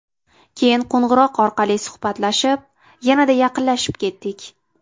Keyin qo‘ng‘iroq orqali suhbatlashib, yanada yaqinlashib ketdik.